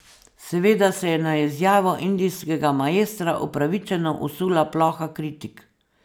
Seveda se je na izjavo indijskega maestra upravičeno usula ploha kritik.